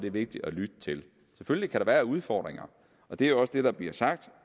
er vigtigt at lytte til selvfølgelig kan der være udfordringer og det er også det der bliver sagt